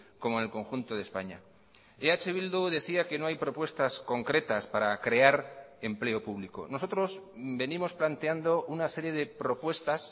como en el conjunto de españa eh bildu decía que no hay propuestas concretas para crear empleo público nosotros venimos planteando una serie de propuestas